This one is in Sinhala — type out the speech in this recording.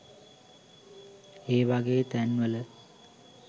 ඒ වගේ තැන්වල